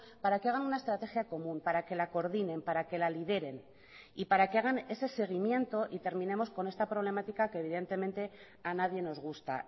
para que hagan una estrategia común para que la coordinen para que la lideren y para que hagan ese seguimiento y terminemos con esta problemática que evidentemente a nadie nos gusta